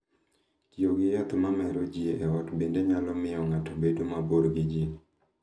Tiyo gi yath ma mero ji e ot bende nyalo miyo ng’ato obed mabor gi ji.